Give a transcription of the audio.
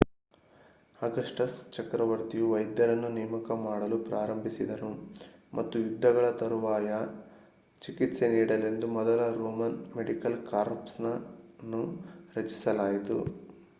Augustus ಚಕ್ರವರ್ತಿಯು ವೈದ್ಯರನ್ನು ನೇಮಕ ಮಾಡಲು ಪ್ರಾರಂಭಿಸಿದನು ಮತ್ತು ಯುದ್ಧಗಳ ತರುವಾಯ ಚಿಕಿತ್ಸೆ ನೀಡಲೆಂದು ಮೊದಲ ರೋಮನ್ ಮೆಡಿಕಲ್ ಕಾರ್ಪ್ಸ್ ಅನ್ನು ರಚಿಸಲಾಯಿತು